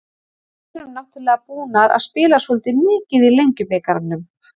Við erum náttúrulega búnar að spila svolítið mikið í Lengjubikarnum.